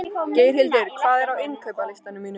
Geirhildur, hvað er á innkaupalistanum mínum?